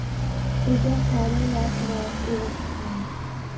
Svo gekk hann rólega aftur í vagninn.